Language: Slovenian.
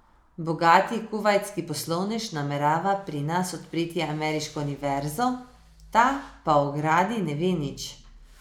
Bogati kuvajtski poslovnež namerava pri nas odpreti ameriško univerzo, ta pa o gradnji ne ve nič.